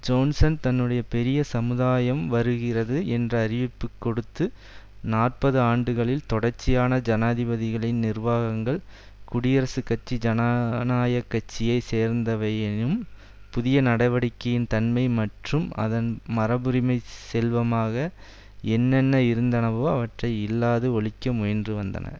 Johnson தன்னுடைய பெரிய சமுதாயம் வருகிறது என்ற அறிவிப்பு கொடுத்து நாற்பது ஆண்டுகளில் தொடர்ச்சியான ஜனாதிபதிகளின் நிர்வாகங்கள் குடியரசுக் கட்சி ஜனநாயக் கட்சியை சேர்ந்தவையாயினும் புதிய நடவடிக்கையின் தன்மை மற்றும் அதன் மரபுரிமை செல்வமாக என்னென்ன இருந்தனவோ அவற்றை இல்லாது ஒழிக்க முயன்று வந்தன